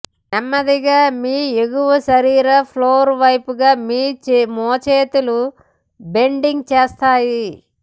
నెమ్మదిగా మీ ఎగువ శరీరం ఫ్లోర్ వైపుగా మీ మోచేతులు బెండింగ్ చేస్తాయి